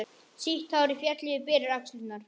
Sítt hárið féll yfir berar axlirnar.